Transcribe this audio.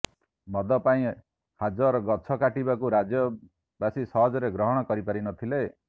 ମଦ ପାଇଁ ହଜାର ଗଛ କାଟିବାକୁ ରାଜ୍ୟବାସୀ ସହଜରେ ଗ୍ରହଣ କରିପାରିନଥିଲେ